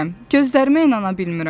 gözlərimə inana bilmirəm.